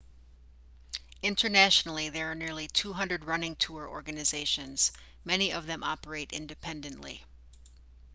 internationally there are nearly 200 running tour organizations most of them operate independently